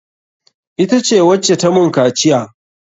Ita ce wacce ta mun kaciya.